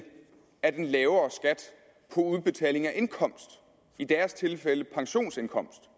af den lavere skat på indkomst i deres tilfælde pensionsindkomst